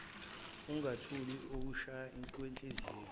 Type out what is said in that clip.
ungathuli ukushaya kwenhliziyo